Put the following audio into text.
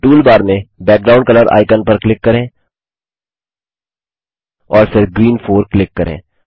अब टूलबार में background colour icon पर क्लिक करें और फिर ग्रीन 4 क्लिक करें